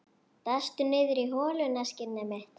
Dastu niðrí holuna, skinnið mitt?